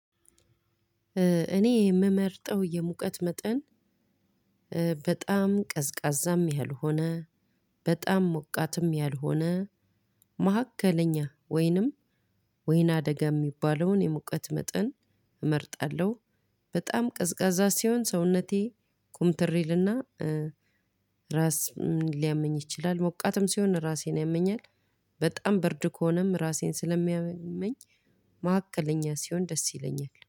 እኔ የምመርጠው የሙቀት መጠን በጣም ቀዝቃዛም ያልሆነ በጣም ሞቃትም ያልሆነ መካከለኛ ወይንም ወይነደጋ የሚባለውን የሙቀት መጠን እመርጣለሁ። በጣም ቀዝቃዛ ሲሆን ሰውነቴ ኩምትር ይልና ራስ ሊያመኝ ይችላል። ሞቃትም ሲሆን ራሴን ያመኛል። በጣም ብርድ ከሆነም ራሴን ስለሚያመኝ ማዕከለኛ ሲሆን ደስ ይለኛል